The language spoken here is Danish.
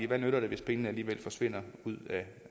hvad nytter det hvis pengene alligevel forsvinder ud